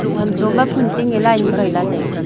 vancho ma phuntin ya line ma kaila taiga.